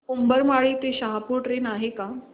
उंबरमाळी ते शहापूर ट्रेन आहे का